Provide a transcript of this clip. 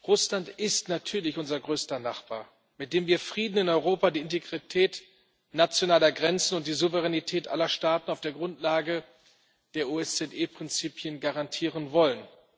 Russland ist natürlich unser größter Nachbar, mit dem wir Frieden in Europa, die Integrität nationaler Grenzen und die Souveränität aller Staaten auf der Grundlage der OSZE Prinzipien garantieren wollen.